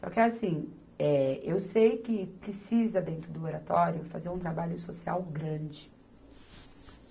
Só que é assim, eh, eu sei que precisa, dentro do oratório, fazer um trabalho social grande.